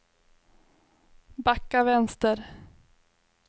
backa vänster